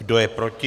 Kdo je proti?